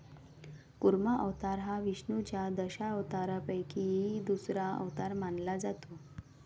कुर्मा अवतार हा विष्णुच्या दशावतारापैकी दुसरा अवतार मानला जातो.